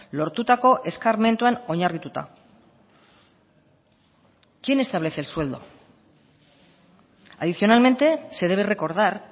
lortutako eskarmentuan oinarrituta quién establece el sueldo adicionalmente se debe recordar